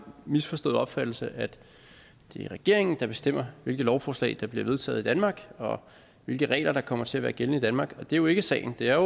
misforståede opfattelse at det er regeringen der bestemmer hvilke lovforslag der bliver vedtaget i danmark og hvilke regler der kommer til at være gældende i danmark og det er jo ikke sagen det er